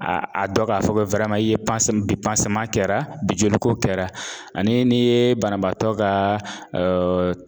A a dɔ k'a fɔ ko i ye kɛra bi joliko kɛra ane nii banabaatɔ kaa